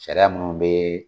Sariya munnu be